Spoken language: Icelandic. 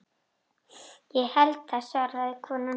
Ég held það svaraði konan.